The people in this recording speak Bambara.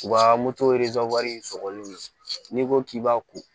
U ka in sɔgɔli nɔ n'i ko k'i b'a ko